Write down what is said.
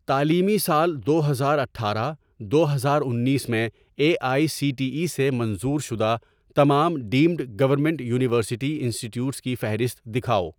تعلیمی سال دو ہزار اٹھارہ دو ہزار انیس میں A I C T E سے منظور شدہ تمام deemed government university institutes کی فہرست دکھاؤ